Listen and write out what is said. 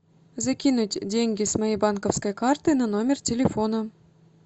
закинуть деньги с моей банковской карты на номер телефона